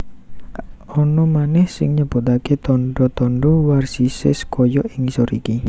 Ana manèh sing nyebutaké tandha tandha varisès kaya ing ngisor iki